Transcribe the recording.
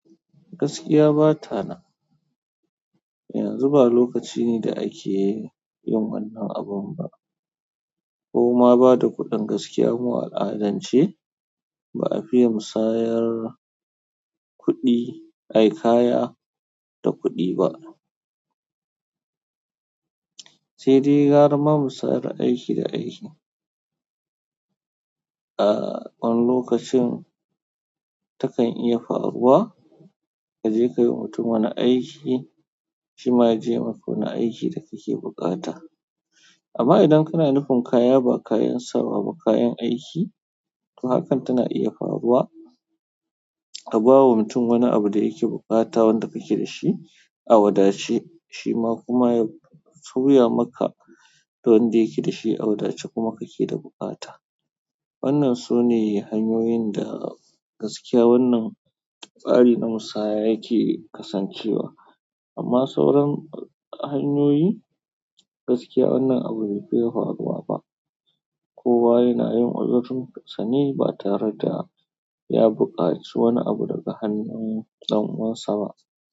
Gaskiya ba ta nan. Yanzu ba lokaci ne da ake-- yin wannan abin ba. Koma bada kuɗin gaskia ba a fiya musayar kuɗi, ayi kaya da kuɗi ba. Sai dai gara ma musayar aiki da aiki. A wani lokacin takan iya faruwa ka je ka yi wa mutum wani aiki, shi ma ya je ya yi maka wani aiki da kake buƙata. Amma idan kana nufin kaya ba kayan sawa ba kayan aiki, to hakan tana iya faruwa ka ba wa mutum wani abu da yake buƙata wanda kake da shi a wadace shi ma kuma ya soya maka wanda yake da shi a wadace kuma kake da buƙata. Wannan sune hanyoyin da gaskiya wannan tsari na musaya yake kasancewa. Amma sauran hanyoyi gaskiya wannan abu bai fiye faruwa ba. Kowa yana yin odarun kasani ba tare da ya buƙaci wani abu daga hanyoyin ɗan uwansa ba.